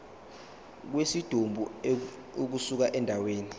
kwesidumbu ukusuka endaweni